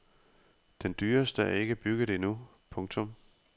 Den dyreste er ikke bygget endnu. punktum